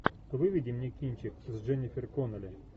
выведи мне кинчик с дженнифер коннелли